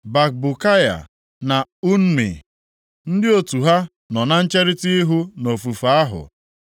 Bakbukaya, na Unni, ndị otu ha nọ na ncherita ihu nʼofufe ahụ.